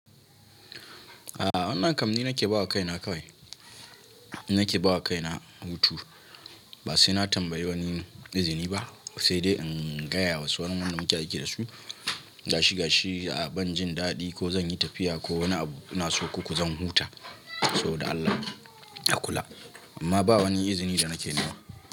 A'a wannan kam ni nake bawa kaina kawai. Ni nake bawa kaina hutu, ba sai na tambayi wani izini ba, sai dai in gaya wa sauran wanda muke aiki da su gashi gashi a ban jin daɗi ko zan yi tafiya ko wani abu ina so koko zan huta, so dan Allah a kula. Amma ba wani izini da nake nema.